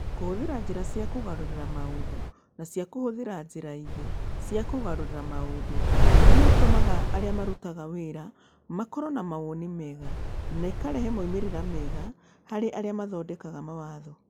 Kũhũthĩra njĩra cia kũgarũrĩra maũndũ na cia kũhũthĩra njĩra ingĩ cia kũgarũrĩra maũndũ, iria itũmaga arĩa marutaga wĩra makorũo na mawoni mega, na ikarehe moimĩrĩro mega harĩ arĩa mathondekaga mawatho